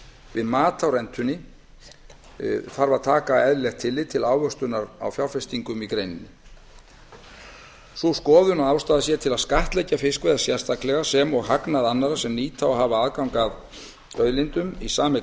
við mat á rentunni þarf að taka tillit til eðlilegrar ávöxtunar á fjárfestingum í greininni sú skoðun að ástæða sé til að skattleggja fiskveiðar sérstaklega sem og hagnað annarra sem nýta og hafa hag af aðgangi að auðlindum í sameign